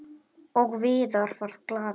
Og Viðar varð glaður.